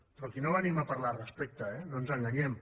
però aquí no venim a parlar de respecte eh no ens enganyem